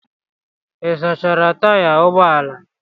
Ị sachara taya ụgbọ ala?